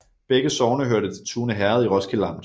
Begge sogne hørte til Tune Herred i Roskilde Amt